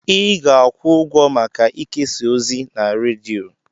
Ị ga-akwụ ụgwọ maka ikesa ozi na redio.